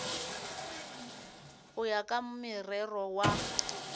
go ya ka morero wa